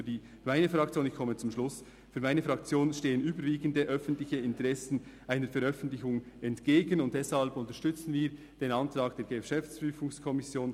Für die meine Fraktion, ich komme zum Schluss, für meine Fraktion stehen überwiegende, öffentliche Interessen einer Veröffentlichung entgegen, und deshalb unterstützen wir den Antrag der GPK.